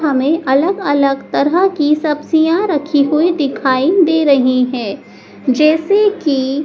हमें अलग अलग तरह की सब्जियां रखी हुई दिखाई दे रही हैं जैसे कि--